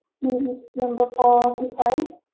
um number forty five